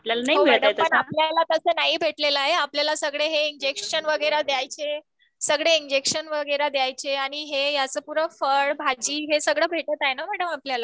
हो आपल्याला तसा नाही भेटलेले आहे तसा आप्ल्यालाल हे सगळे इंजेक्शन इंजेक्शन वगैरे द्यायचे. हे आता असं फळ भाजी वगैरेअ भेटत आहे ना मॅम आपल्याला.